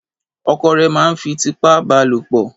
ọkọ rè má n fí titiipa balopo